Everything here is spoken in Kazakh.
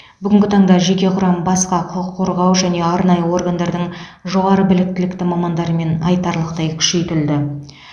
бүгінгі таңда жеке құрам басқа құқық қорғау және арнайы органдардың жоғары білікті мамандарымен айтарлықтай күшейтілді